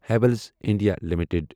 Havells India limited